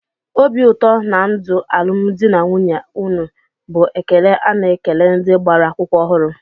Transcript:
"Obi ụtọ na ndụ alụmdi na nwunye unu" bụ ekele a na-ekele ndị gbara akwụkwọ ọhụrụ